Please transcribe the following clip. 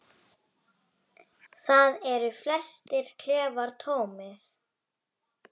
Þar eru flestir klefar tómir.